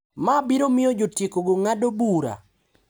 Ma biro miyo jotiekogo ng’ado bura.